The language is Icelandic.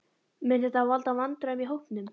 Mun þetta valda vandræðum í hópnum?